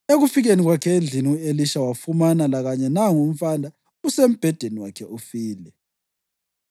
Ekufikeni kwakhe endlini u-Elisha, wafumana lakanye nangu umfana usembhedeni wakhe ufile.